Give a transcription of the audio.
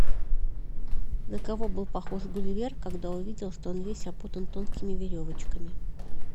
на кого был похож гулливер когда увидел что он весь опутан тонкими веревочками